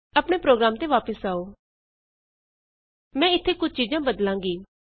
ਆਪਣੇ ਪ੍ਰੋਗਰਾਮ ਤੇ ਵਾਪਸ ਆਉ ਮੈਂ ਇਥੇ ਕੁਝ ਚੀਜਾਂ ਬਦਲਾਂਗੀ